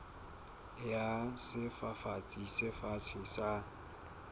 ya sefafatsi se fatshe sa